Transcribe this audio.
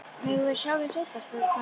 Megum við sjá þau seinna? spurði Kata.